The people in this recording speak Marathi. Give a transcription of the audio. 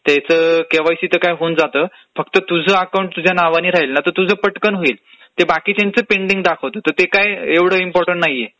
त्याचं केवायसी तर काय होऊन जातं, तुझ अकाऊंट तुझ्या नावानी राहिल. तुझ पटकन होईल, बाकीच्यांच पेंडींग दाखवत, तर ते काय एवढं इम्पोर्टंट नाहीये